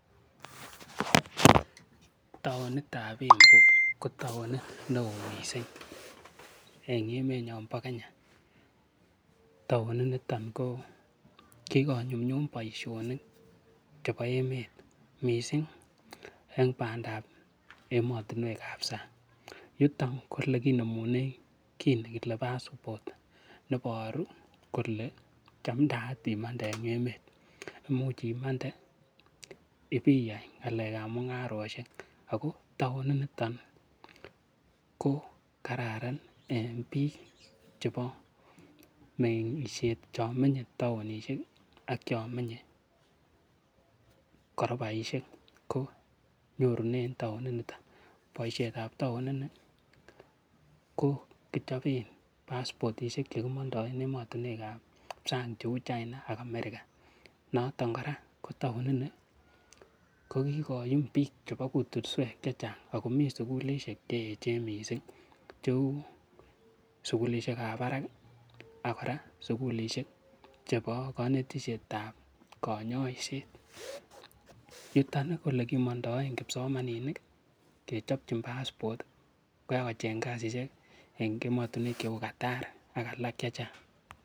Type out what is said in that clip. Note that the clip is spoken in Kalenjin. Taonit ab Embu ko taonit neo mising en emet nebo Kenya. Taoninito ko kigonyumnyum boisiionik chebo emet mising en bandab emotinwek ab sang. Yuton ko ele kinemunen kiy nekile passport neboru ole chamdaat imande en emet. Imuch imande ibiyai ng'alekab mung'arosiek. Ago taoninito ko kararan en biik chebo meng'isiet. Chon meny taon ak chon menye korobaishek. Ko nyorunen taonini. Ko boisiet ab taon ini ko kichoben passportishek che kimondoen emotinwek ab sang cheu China ak America. Noton kora ko taonini ko kigoyum biik chebo kutswek chechang ago mi sugulishek che eechen mising, cheu sugulishek ab barak ak sugulishek chebo konetishet ab konyoiset. Yuton kole ole kimondoen kipsomaninik kechobchin passport asi bagocheng kasishek en emotinwek cheu Qatar ak alak chechang.